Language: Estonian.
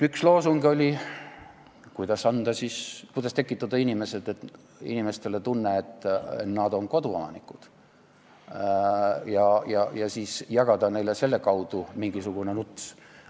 Üks loosung oli see, kuidas tekitada inimestes tunne, et nad on koduomanikud, ja siis jagada neile selle kaudu mingisugune nuts.